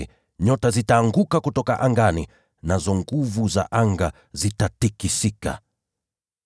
nazo nyota zitaanguka kutoka angani, na nguvu za anga zitatikisika.’